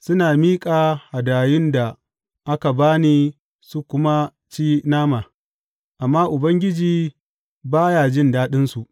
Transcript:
Suna miƙa hadayun da aka ba ni su kuma ci nama, amma Ubangiji ba ya jin daɗinsu.